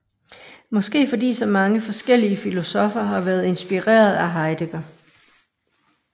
Måske fordi så mange forskellige filosoffer har været inspireret af Heidegger